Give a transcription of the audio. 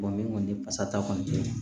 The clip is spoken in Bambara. ni kɔni pasata kɔni tɛ